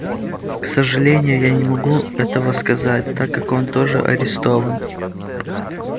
к сожалению я не могу этого сказать так как он тоже арестован